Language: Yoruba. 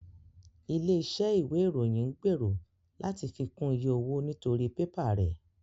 Ilé iṣẹ́ ìwé ìròyìn ń gbèrò láti fi kún iye owó nítorí pẹ́pà rẹ̀